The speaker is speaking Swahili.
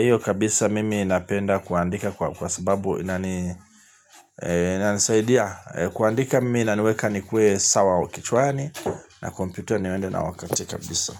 Iyo kabisa mimi napenda kuandika kwa sababu inani, inanisaidia. Kuandika mimi inaniweka ni kuwe sawa kichwani, na kompyuta niwende na wakati kabisa.